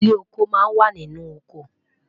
ilé ọkọ má n wà nínú ọkọ